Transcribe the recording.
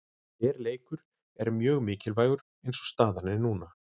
Hver leikur er mjög mikilvægur eins og staðan er núna.